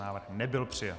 Návrh nebyl přijat.